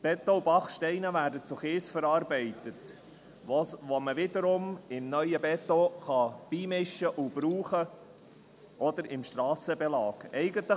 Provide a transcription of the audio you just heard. Beton und Backsteine werden zu Kies verarbeitet, den man wiederum dem neuen Beton beimischen oder im Strassenbelag verwenden kann.